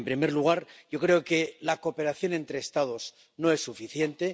En primer lugar, yo creo que la cooperación entre Estados no es suficiente.